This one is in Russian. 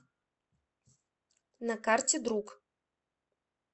на карте друг